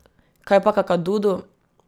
Kaj pa Kakadudu?